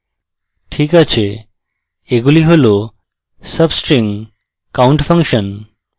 ok আছেএগুলি হল substring count function